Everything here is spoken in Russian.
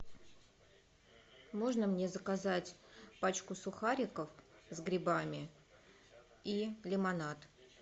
можно мне заказать пачку сухариков с грибами и лимонад